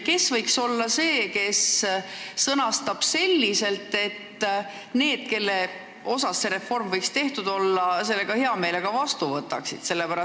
Kes võiks olla see, kes sõnastab selle selliselt, et need, kelle suhtes seda reformi võiks teha, selle ka heameelega vastu võtaksid?